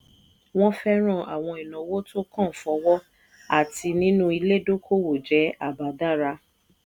wọn fẹ́ràn àwọn ìnáwó tó kan fọwọ́ àti nínú ilé dókòwò jẹ́ àbá dára.